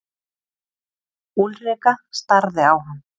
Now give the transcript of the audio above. Úlrika starði á hann.